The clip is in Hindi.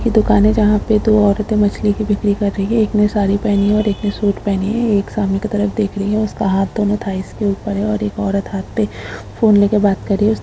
यह दुकान है जहाँ पे दो औरते मछली की बिक्री कर रही हैं एक ने साड़ी पहनी हैं और एक ने सूट पहनी है एक सामने की तरफ देख रही हैं उसका हाथ दोनों थाइस के ऊपर है और एक औरत हाथ पे फ़ोन लेके बात कर रही हैं।